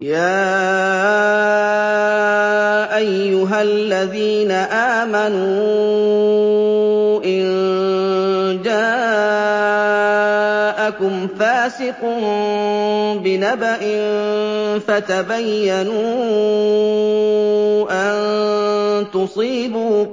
يَا أَيُّهَا الَّذِينَ آمَنُوا إِن جَاءَكُمْ فَاسِقٌ بِنَبَإٍ فَتَبَيَّنُوا أَن تُصِيبُوا